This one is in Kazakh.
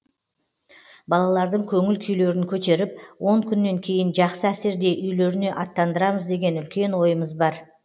балалардың көңіл күйлерін көтеріп он күннен кейін жақсы әсерде үйлеріне аттандырамыз деген үлкен ойымыз бар